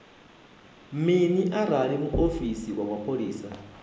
mini arali muofisi wa mapholisa